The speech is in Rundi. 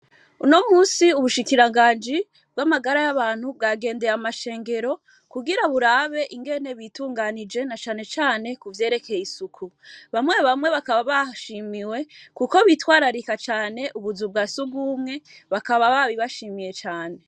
Unomunsi ubushikiranganji bw'amagara yabantu bwagendeye amashengero kugira burabe ukuntu bitunganije na cane cane kuvyerekeye isuku bamye bamye bakaba bashimiwe kuko bitwararika cane ubuzu bwasugumwe bakaba babibashimiye cane